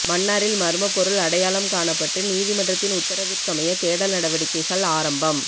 மன்னாரில் மர்மப்பொருள் அடையாளம் காணப்பட்டு நீதிமன்றத்தின் உத்தரவிற்கமைய தேடல் நடவடிக்கைகள் ஆரம்பம்